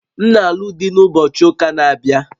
M na-alụ di na ụbochị ụka na-abịa